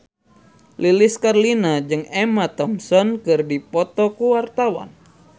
Lilis Karlina jeung Emma Thompson keur dipoto ku wartawan